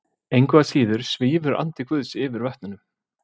Engu að síður svífur andi Guðs yfir vötnunum.